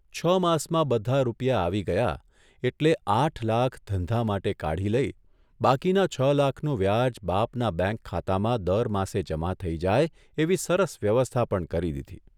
છ માસમાં બધા રૂપિયા આવી ગયા એટલે આઠ લાખ ધંધા માટે કાઢી લઇ બાકીના છ લાખનું વ્યાજ બાપના બેંક ખાતામાં દર માસે જમા થઇ જાય એવી સરસ વ્યવસ્થા પણ કરી દીધી.